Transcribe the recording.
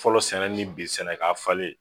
Fɔlɔ sɛnɛ ni bi sɛnɛ k'a falen